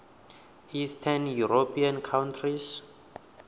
eastern european countries